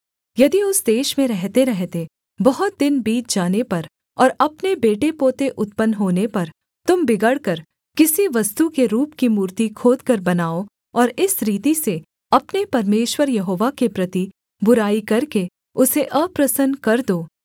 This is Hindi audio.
यदि उस देश में रहतेरहते बहुत दिन बीत जाने पर और अपने बेटेपोते उत्पन्न होने पर तुम बिगड़कर किसी वस्तु के रूप की मूर्ति खोदकर बनाओ और इस रीति से अपने परमेश्वर यहोवा के प्रति बुराई करके उसे अप्रसन्न कर दो